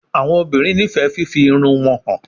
Awọn obinrin nifẹ fifi irun wọn han